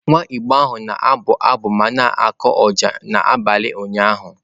Nwa Igbo ahụ na-abụ abụ ma na-akụ ọjà n'abalị ụnyahụ.